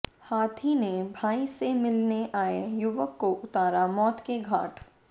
हाथी ने भाई से मिलने आए युवक को उतारा मौत के घाट